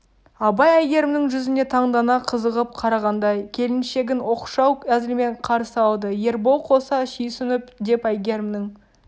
абай әйгерімнің жүзіне таңдана қызығып қарағандай келіншегн оқшау әзілмен қарсы алды ербол қоса сүйсініп деп әйгерімнің